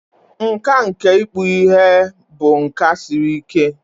Nkà nke ịkpụ ihe bụ nka siri ike.